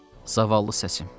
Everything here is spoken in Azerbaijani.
Zavallı səsim.